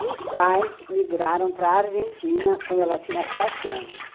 E os pais migraram para a Argentina quando ela tinha sete anos.